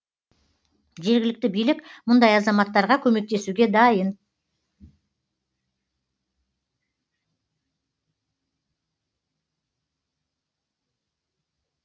жергілікті билік мұндай азаматтарға көмектесуге дайын